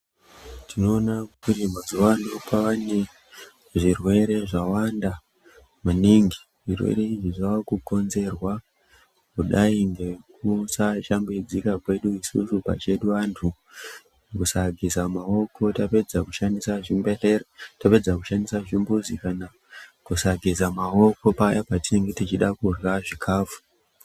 Tinoona kuti mazuano kwane zvirwere zvawanda maningi zvirwere izvi zvakukonzerwa kudai ngekusa shambidzika kwedu isusu pachedu vantu kusageza maoko tapedza kushandisa zvimbehlera tapedza kushandisa zvimbuzi kana kusageza maoko paya patinonga teida kurya zvikafu.